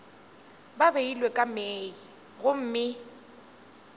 ba beilwe ka mei gomme